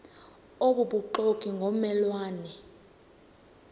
obubuxoki ngomme lwane